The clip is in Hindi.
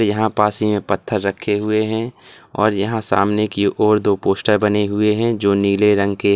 यहां पास में ही पत्थर रखे हुए हैं और यहां सामने की ओर दो पोस्टर बने हुए हैं जो नीले रंग के हैं।